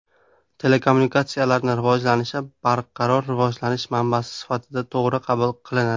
Telekommunikatsiyalarni rivojlanishi barqaror rivojlanish manbasi sifatida to‘g‘ri qabul qilinadi.